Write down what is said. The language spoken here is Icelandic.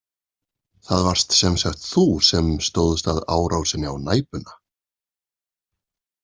Það varst sem sagt þú sem stóðst að árásinni á Næpuna?